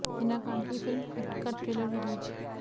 हिना खान की film hacked का trailer release